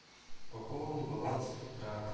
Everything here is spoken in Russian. пополни баланс брата